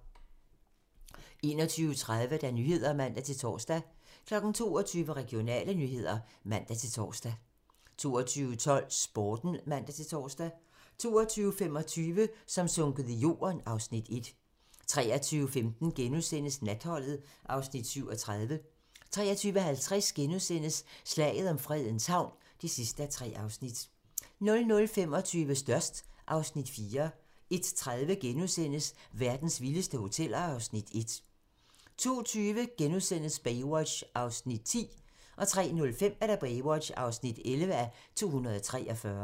21:30: Nyhederne (man-tor) 22:00: Regionale nyheder (man-tor) 22:12: Sporten (man-tor) 22:25: Som sunket i jorden (Afs. 1) 23:15: Natholdet (Afs. 37)* 23:50: Slaget om Fredens Havn (3:3)* 00:25: Størst (Afs. 4) 01:30: Verdens vildeste hoteller (Afs. 1)* 02:20: Baywatch (10:243)* 03:05: Baywatch (11:243)